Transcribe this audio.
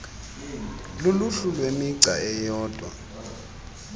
luluhlu lwemigca eyodwa